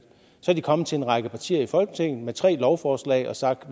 så er de kommet til en række partier i folketinget med tre lovforslag og har sagt at